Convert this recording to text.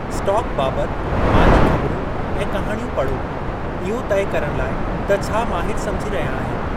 Stock बाबति माली ख़बिरूं ऐं कहाणियूं पढ़ो। इहो तइ करणु लाइ त छा माहिरु समुझी रहिया आहिनि।